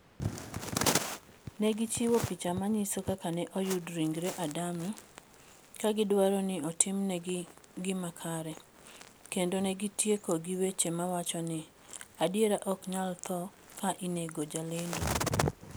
Ne gichiwo picha manyiso kaka ne oyud ringre Adame, ka gidwaro ni otimnegi gima kare, kendo ne gitieko gi weche mawacho ni, "Adiera ok nyal tho ka inego jalendo":